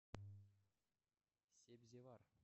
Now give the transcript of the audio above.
себзевар